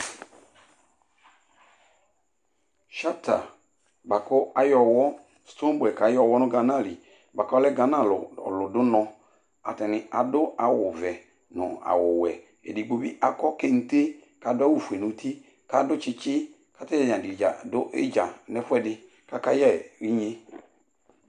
Shata bua ku ayɛ ɔwɔ, stoneboy k'ayɛ ɔwɔ nu ghanali bua ku ɔlɛ ghana ɔlu dù unɔ ,atani adu awù vɛ nu awu wɛ, edigbo bi akɔ kente k'adu awù fue n'uti nu tsitsi k'atani dza du idza nu ɛfuɛdi k'aka yɛ inyé